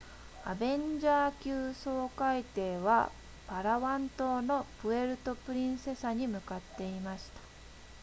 アベンジャー級掃海艇はパラワン島のプエルトプリンセサに向かっていました